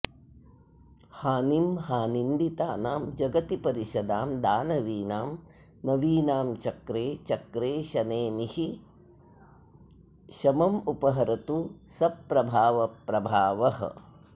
हानिं हा निन्दितानां जगति परिषदां दानवीनां नवीनां चक्रे चक्रेशनेमिः शममुपहरतु सप्रभावप्रभा वः